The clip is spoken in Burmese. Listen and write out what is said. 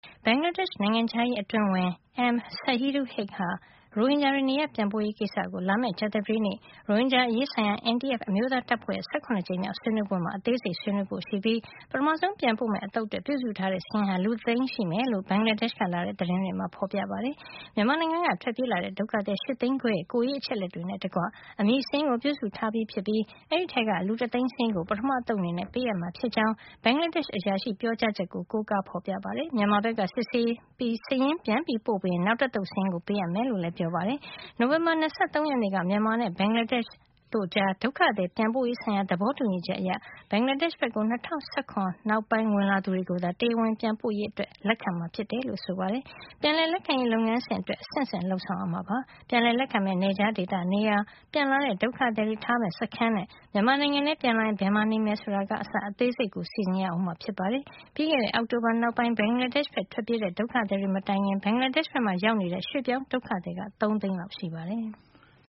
ဘင်္ဂလားဒေ့ရှ် နိုင်ငံခြားရေး အတွင်းဝန် M Shahidul Haque ဟာ ရိုဟင်ဂျာတွေ နေရပ်ပြန်ပို့ရေး ကိစ္စကို လာမယ့် ကြာသပတေးနေ့ ရိုဟင်ဂျာ အရေးဆိုင်ရာ NTF အမျိုးသားတပ်ဖွဲ့ရဲ့ ၁၇ ကြိမ်မြောက်ဆွေးနွေးပွဲမှာ အသေးစိတ်ဆွေးနွေးဖို့ ရှိပြီး ပထမဆုံး ပြန်ပို့မယ့် အသုတ်အတွက် ပြုစုထားတဲ့ စာရင်းဟာ လူတသိန်းရှိမယ်လို့ ဘင်္ဂလားဒေ့ရှ်က လာတဲ့ သတင်းတွေမှာဖေါ်ပြထားပါတယ်။ မြန်မာနိုင်ငံက ထွက်ပြေးလာတဲ့ ဒုက္ခသည် ၈ သိန်းခွဲရဲ့ ကိုယ်ရေး အချက်အလက်တွေ နဲ့ တကွ အမည်စာရင်းကို ပြုစုထားပြီး ဖြစ်ပြီး အဲဒီထဲက လူတသိန်းစာရင်းကို ပထမသုတ် အနေနဲ့ ပေးအပ်မှာ ဖြစ်ကြောင်း ဘင်္ဂလားဒေ့ရှ် အရာရှိရဲ့ ပြောကြားချက်ကို ကိုးကားဖေါ်ပြထားပါတယ်။ မြန်မာဘက်က စစ်ဆေးပြီး စာရင်း ပြန်ပို့ပေး ရင် နောက်တသုတ် စာရင်းကို ပေးအပ်မယ်လို့လည်း ပြောပါတယ်။ နိုဝင်ဘာလ ၂၃ ရက်နေ့က မြန်မာနဲ့ ဘင်္ဂလားဒေ့ရှ် အစိုးရတို့ကြား ဒုက္ခသည် ပြန်ပို့ရေး ဆိုင်ရာ သဘောတူညီချက် အရ ဘင်္ဂလားဒေ့ရှ် ဘက်ကို ၂၀၁၆ ခုနှစ် နောက်ပိုင်း ဝင်လာသူတွေကိုသာ တရားဝင် ပြန်ပို့ရေး လက်ခံမှာ ဖြစ်တယ်လို့ ဆိုပါတယ်။ ပြန်လည်လက်ခံရေး လုပ်ငန်းစဉ်အတွက် အဆင့်ဆင့် လုပ်ဆောင်ရမှာ ဖြစ်ပါတယ်။ ပြန်လည် လက်ခံမယ့် နယ်ခြားဒေသ နေရာ၊ ပြန်လာတဲ့ ဒုက္ခစည်တွေ ထားမယ့် စခန်းတွေနဲ့ မြန်မာနိုင်ငံထဲ ပြန်လာရင် ဘယ်မှာ နေမယ် ဆိုတာကအစ အသေးစိတ်ကို စီစဉ်ရမှာ ဖြစ်ပါတယ်။ ပြီးခဲ့တဲ့ အောက်တိုဘာ နောက်ပိုင်း ဘင်္ဂလားဒေ့ရှိဘက် ထွက်ပြေးကြတဲ့ ဒုက္ခသည်တွေ မတိုင်ခင် ဘင်္ဂလားဒေ့ရှ် ဘက်မှာ ရောက်နေတဲ့ ရွှေ့ပြောင်းဒုက္ခသည်က ၃ သိန်းလောက် ရှိပါတယ်။